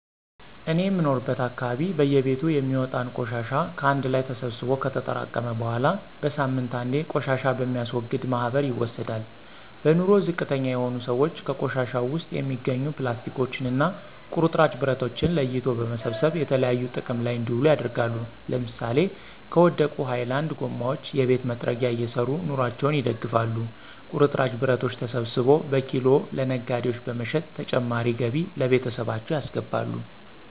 እኔ የምኖርበት አካባቢ በየቤቱ የሚወጣን ቆሻሻ ከአንድ ላይ ተሰብስቦ ከተጠራቀመ በኃላ በሳምንት አንዴ ቆሻሻ በሚያስወግድ ማህበር ይወሰዳል። በኑሮ ዝቅተኛ የሆኑ ስዎች ከቆሻሻው ውስጥ የሚገኙ ፕላስቲኮችን እና ቁርጥራጭ ብረቶችን ለይቶ በመሰብሰብ የተለያዩ ጥቅም ላይ እንዲውሉ ያደርጋሉ ለምሳሌ ከወደቁ ሀይላንድ ጎማዎች የቤት መጥረጊያ እየሰሩ ኑሮአቸውን ይደግፋሉ። ቁርጥራጭ ብረቶችን ሰብስቦ በኪሎ ለነጋዴዎች በመሸጥ ተጨማሪ ገቢ ለቤተሰባቸው ያስገባሉ።